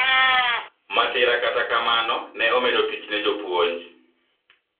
masira kata kamano ne omedo tich ne jopuonj